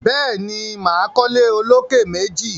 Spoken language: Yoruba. Béèni, máa kọ́ ilé olókè méjì